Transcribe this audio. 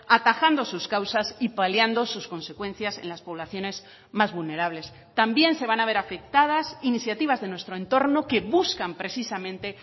atajando sus causas y paliando sus consecuencias en las poblaciones más vulnerables también se van a ver afectadas iniciativas de nuestro entorno que buscan precisamente